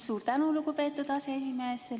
Suur tänu, lugupeetud aseesimees!